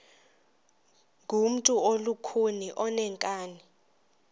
ngumntu olukhuni oneenkani